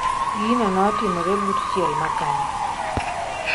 Gino notimore but chiel mar kanyo